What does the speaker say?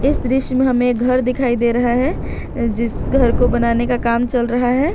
इस दृश्य में हमें घर दिखाई दे रहा है जिस घर को बनाने का काम चल रहा है।